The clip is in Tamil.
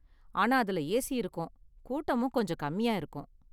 ஆனா அதுல ஏசி இருக்கும், கூட்டமும் கொஞ்சம் கம்மியா இருக்கும்.